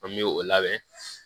An bɛ o labɛn